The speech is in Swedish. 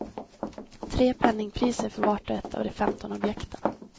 Tre penningpriser för vart och ett av de femton objekten.